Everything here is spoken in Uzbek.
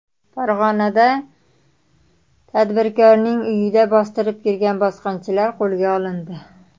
Farg‘onada tadbirkorning uyiga bostirib kirgan bosqinchilar qo‘lga olindi.